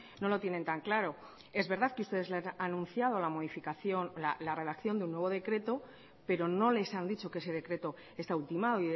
no lo tienen tan claro es verdad que ustedes les han anunciado la modificación de la redacción de un nuevo decreto pero no les han dicho que ese decreto está ultimado